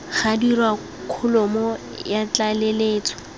ga dirwa kholomo ya tlaleletso